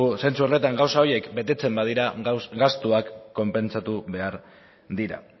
zentzu horretan gauza horiek betetzen badira gastuak konpentsatu behar dira